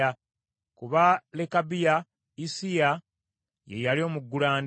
Ku ba Lekabiya, Issiya ye yali omuggulanda.